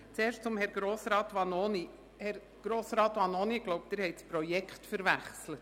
Zuerst zu Herrn Grossrat Vanoni: Herr Grossrat Vanoni, ich glaube, Sie haben das Projekt verwechselt.